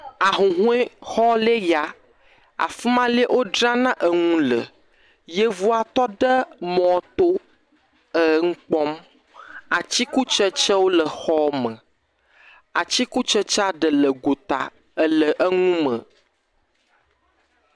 Ahuhɔexɔ le ya. Afi ma lɛ wodrana enu le. Yevua tɔ ɖe mɔto eŋu kpɔm. Atikutsetsewo le exɔ me. Atikutsetsea ɖe le gota ele enu me.